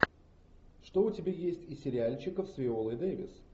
что у тебя есть из сериальчиков с виолой дэвис